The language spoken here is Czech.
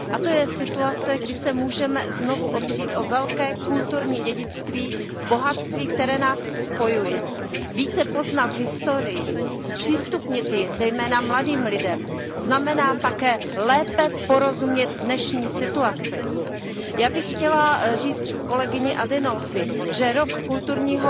A to je situace, kdy se můžeme znovu opřít o velké kulturní dědictví bohatství, které nás spojuje. Více poznat historii, zpřístupnit ji, zejména mladým lidem, znamená také lépe porozumět dnešní situaci. Já bych chtěla říct kolegyni Adinolfi, že rok kulturního